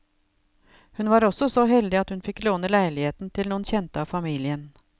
Hun var også så heldig at hun fikk låne leiligheten til noen kjente av familien.